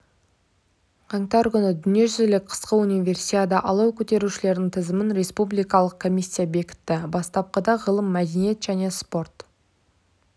қаңтар күні дүниежүзілік қысқы универсиада алау көтерушілердің тізімін республикалық комиссия бекітті бастапқыда ғылым мәдениет және спорт